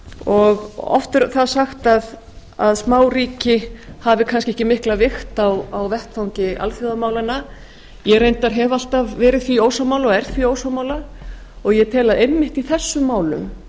og oft er það sagt að smáríki hafi kannski ekki mikla vigt á vettvangi alþjóðamálanna ég reyndar hef alltaf verið því ósammála og er því ósammála og ég tel að einmitt í þessum málum